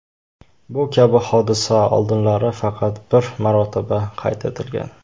Bu kabi hodisa oldinlari faqat bir marotaba qayd etilgan.